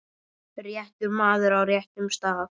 réttur maður á réttum stað.